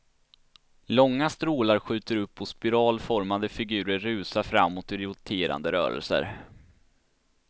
Långa strålar skjuter upp och spiralformade figurer rusar framåt i roterande rörelser.